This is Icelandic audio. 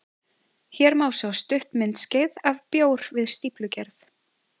Hér má sjá stutt myndskeið af bjór við stíflugerð.